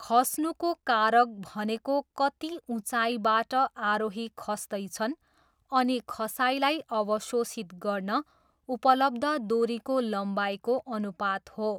खस्नुको कारक भनेको कति उच्चाइबाट आरोही खस्दैछन् अनि खसाइलाई अवशोषित गर्न उपलब्ध दोरीको लम्बाइको अनुपात हो।